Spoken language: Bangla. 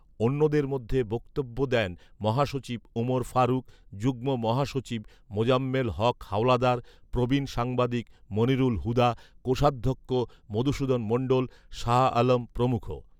অন্যদের মধ্যে বক্তব্য দেন মহাসচিব ওমর ফারুক, যুগ্ম মহাসচিব মোজাম্মেল হক হাওলাদার, প্রবীণ সাংবাদিক মনিরুল হুদা, কোষাধ্যক্ষ মধুসূধন মণ্ডল, শাহ আলম প্রমুখ